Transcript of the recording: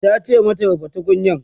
tace mata "rufe tukunyar!"